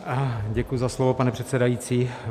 Děkuji za slovo, pane předsedající.